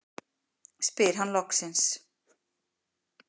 spyr hann loksins.